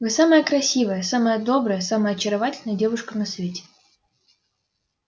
вы самая красивая самая добрая самая очаровательная девушка на свете